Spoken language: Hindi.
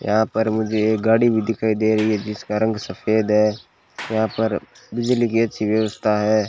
यहां पर मुझे एक गाड़ी भी दिखाई दे रही है जिसका रंग सफेद है यहां पर बिजली कि अच्छी व्यवस्था है।